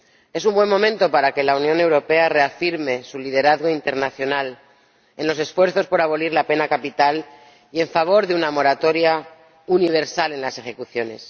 Es un buen momento para que la Unión Europea reafirme su liderazgo internacional en los esfuerzos por abolir la pena capital y en favor de una moratoria universal en las ejecuciones.